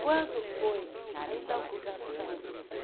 Quando foi a inauguração?